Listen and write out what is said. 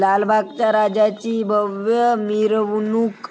लालबागच्या राजाची भव्य मिरवणूक